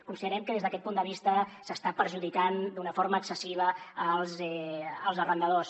considerem que des d’aquest punt de vista s’està perjudicant d’una forma excessiva els arrendadors